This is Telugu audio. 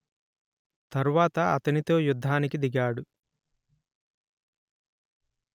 తర్వాత అతనితో యుద్ధానికి దిగాడు